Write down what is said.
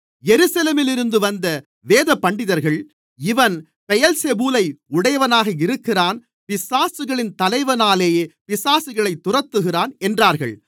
எருசலேமிலிருந்து வந்த வேதபண்டிதர்கள் இவன் பெயெல்செபூலை உடையவனாக இருக்கிறான் பிசாசுகளின் தலைவனாலே பிசாசுகளைத் துரத்துகிறான் என்றார்கள்